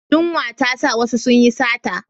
Yunwa ta sa wasu su yi sata.